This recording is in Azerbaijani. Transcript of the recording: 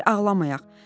Gəl ağlamayaq.